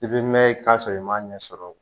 I bɛ mɛn i ka sɔrɔ i m'a ɲɛsɔrɔ